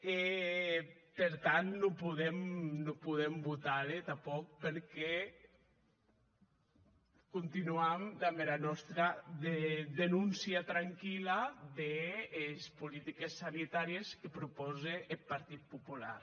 e per tant non podem votar le tanpòc perque continuam damb era nòsta denóncia tranquilla des politiques sanitàries que propòse eth partit popular